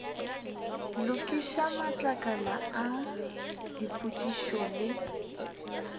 lokiša matlakala a dipotšišo le